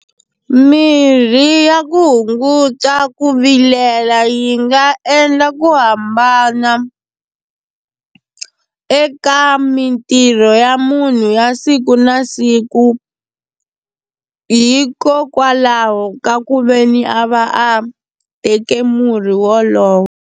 Mirhi ya ku hunguta ku vilela yi nga endla ku hambana eka mitirho ya munhu ya siku na siku hikokwalaho ka ku veni a va a teke murhi wolowo.